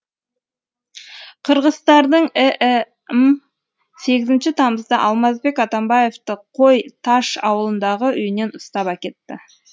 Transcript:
қырғызстанның іім сегізінші тамызда алмазбек атамбаевты қой таш ауылындағы үйінен ұстап әкетті